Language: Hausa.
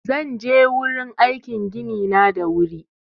Zan je gurin aikin gini na da wuri